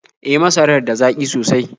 E, masarar da zaƙi sosai.